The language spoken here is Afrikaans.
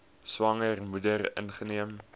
swanger moeder ingeneem